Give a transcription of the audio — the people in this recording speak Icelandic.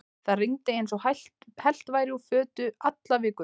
Það rigndi eins og hellt væri úr fötu alla vikuna.